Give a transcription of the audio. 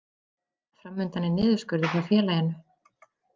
Fram undan er niðurskurður hjá félaginu